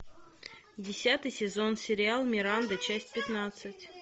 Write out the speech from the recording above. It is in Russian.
десятый сезон сериал миранда часть пятнадцать